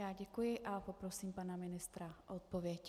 Já děkuji a poprosím pana ministra o odpověď.